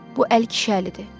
bu əl kişi əlidir.